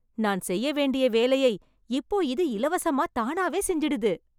நான் செய்ய வேண்டிய வேலையை இப்போ இது இலவசமா தானாவே செஞ்சிடுது.